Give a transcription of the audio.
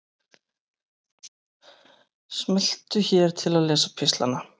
Smelltu hér til að lesa pistlana